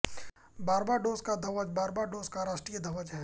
Barbados का ध्वज Barbados का राष्ट्रीय ध्वज है